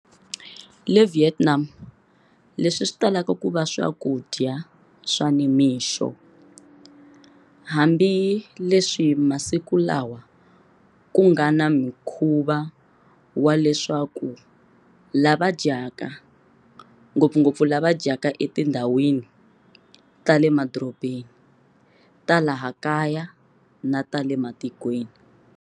Le Vietnam, leswi switalaka kuva swakudya swa nimixo, hambi leswi masiku lawa kungana mukhuva wa leswaku lava dyaka, ngopfungopfu lava dyaka etindhawini ta le madorobeni ta laha kaya na ta le matikweni.